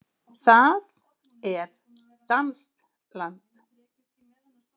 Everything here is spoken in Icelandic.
Það er danskt land.